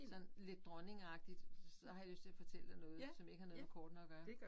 Sådan lidt dronningeagtigt så har jeg lyst til at fortælle dig noget som ikke har noget med kortene at gøre